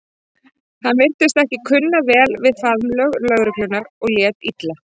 Hann virtist ekki kunna vel við faðmlög lögreglunnar og lét illa.